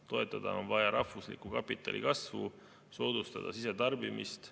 Toetada on vaja rahvusliku kapitali kasvu, soodustada sisetarbimist.